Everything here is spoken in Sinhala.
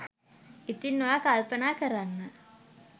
ඉතින් ඔයා කල්පනා කරන්න